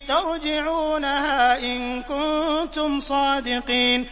تَرْجِعُونَهَا إِن كُنتُمْ صَادِقِينَ